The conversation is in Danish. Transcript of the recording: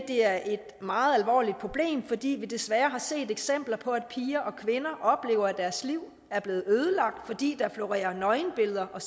det er et meget alvorligt problem fordi vi desværre har set eksempler på at piger og kvinder oplever at deres liv er blevet ødelagt fordi der florerer nøgenbilleder og